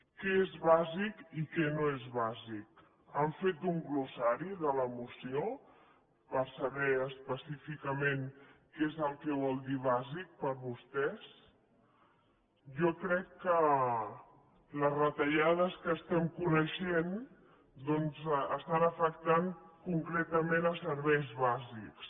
què és bàsic i què no és bàsic han fet un glossari de la moció per saber específicament què és el que vol dir bàsic per vostès jo crec que les retallades que estem coneixent doncs afecten concretament serveis bàsics